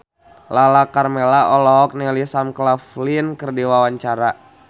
Lala Karmela olohok ningali Sam Claflin keur diwawancara